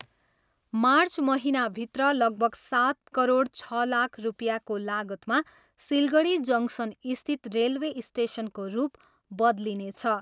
March महिनाभित्र लगभग सात करोड छ लाख रुपियाँको लागतमा सिलगढी जङ्सनस्थित रेलवे स्टेसनको रूप बदलिनेछ।